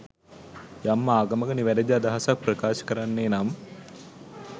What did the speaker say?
යම් ආගමක නිවැරදි අදහසක් ප්‍රකාශ කරන්නේ නම්